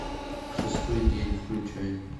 шестой день включай